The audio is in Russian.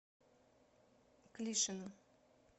клишину